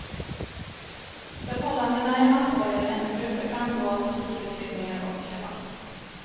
Förhållandena är allvarligare än det brukar framgå av asylutredningar och debatt.